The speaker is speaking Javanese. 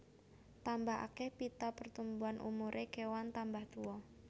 Tambah akeh pita pertumbuhan umuré kewan tambah tuwa